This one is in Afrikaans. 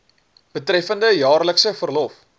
betreffende jaarlikse verlof